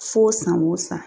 Fo san o san.